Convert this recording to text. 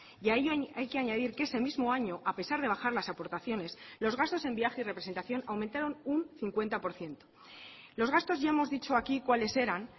y a ello hay que añadir que ese mismo año a pesar de bajar las aportaciones los gastos en viaje y representación aumentaron un cincuenta por ciento los gastos ya hemos dicho aquí cuáles eran